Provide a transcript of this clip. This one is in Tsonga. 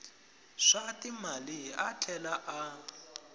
swa timali a tlhela a